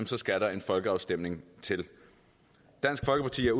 så skal der en folkeafstemning til dansk folkeparti er